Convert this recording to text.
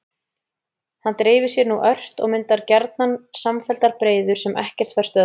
Hann dreifir sér nú ört og myndar gjarnan samfelldar breiður sem ekkert fær stöðvað.